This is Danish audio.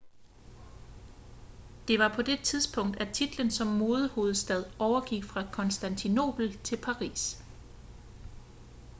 det var på det tidspunkt at titlen som modehovedstad overgik fra konstantinopel til paris